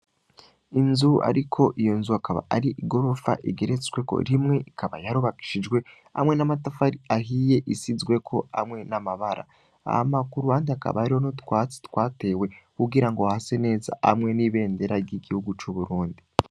Inzu, ariko iyo nzu akaba ari igorofa igeretsweko rimwe ikaba yarobakishijwe hamwe n'amatafa ari ahiye isizweko amwe n'amabara aha makuru handi akaba ariho no twatsi twatewe kugira ngo hase neza amwe n'ibendera ry'igihugu c'uburundi.